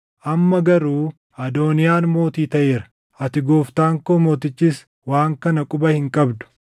Amma garuu Adooniyaan mootii taʼeera; ati gooftaan koo mootichis waan kana quba hin qabdu.